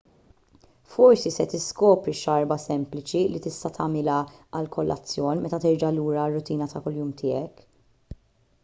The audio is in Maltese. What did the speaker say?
forsi se tiskopri xarba sempliċi li tista' tagħmilha għall-kolazzjon meta terġa' lura għar-rutina ta' kuljum tiegħek